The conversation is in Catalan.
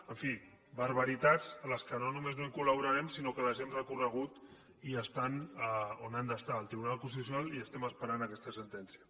en fi barbaritats a les quals no només no col·laborarem sinó que les hem recorregut i estan on han d’estar al tribunal constitucional i estem esperant aquesta sentència